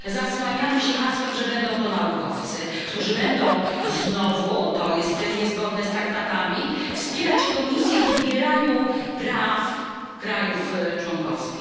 Zasłaniamy się hasłem, że będą to naukowcy, którzy będą znowu to jest niezgodne z traktatami wspierać Komisję w odbieraniu praw państwom członkowskim.